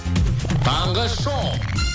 таңғы шоу